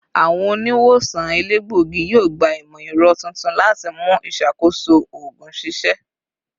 Awọn oniwosan elegbogi yoo gba imọ-ẹrọ tuntun lati mu iṣakoso oogun ṣiṣẹ